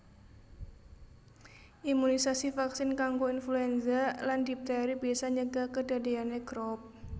Imunisasi vaksin kanggo influenza lan dipteri bisa nyegah kedadeyane Croup